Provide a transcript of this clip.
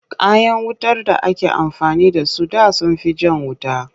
Kayan wutar da ake amfani da su da sun fi jan wuta.